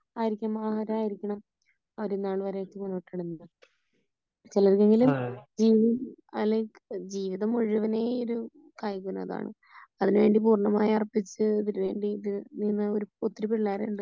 ആയിരിക്കും ആരാ യിരിക്കണം ചിലർക്കെങ്കിലും അല്ലെങ്കി വീട് മുഴുവനെ ഇത് അതിനു വേണ്ടി പൂർണമായി അർപ്പിച്ച് നിന്ന ഒത്തിരി പിള്ളേരുണ്ട് .